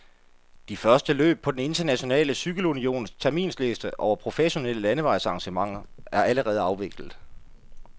De første løb på den internationale cykelunions terminsliste over professionelle landevejsarrangementer er allerede afviklet.